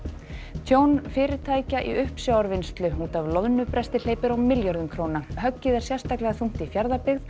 tjón fyrirtækja í uppsjávarvinnslu út af loðnubresti hleypur á milljörðum höggið er sérstaklega þungt í Fjarðabyggð